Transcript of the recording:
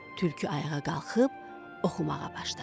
Tülkü ayağa qalxıb oxumağa başladı.